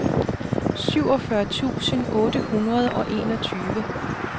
syvogfyrre tusind otte hundrede og enogtyve